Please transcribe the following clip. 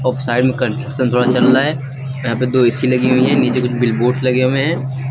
और साइड में कंस्ट्रक्शन थोड़ा चल रहा है यहां पे दो ए_सी लगी हुई है नीचे कुछ बिल बोर्ड लगे हुए है।